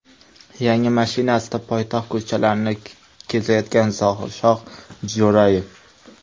Yangi mashinasida poytaxt ko‘chalarini kezayotgan Zohirshoh Jo‘rayev.